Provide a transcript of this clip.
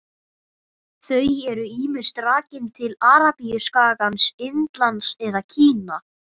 Þau eru ýmist rakin til Arabíuskagans, Indlands eða Kína.